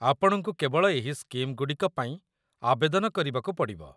ଆପଣଙ୍କୁ କେବଳ ଏହି ସ୍କିମ୍‌ଗୁଡ଼ିକ ପାଇଁ ଆବେଦନ କରିବାକୁ ପଡ଼ିବ